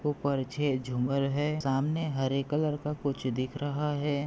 उपरछे झूमर है। सामने हरे कलर का कुछ दिख रहा है।